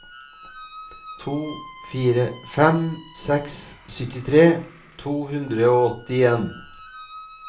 to fire fem seks syttitre to hundre og åttien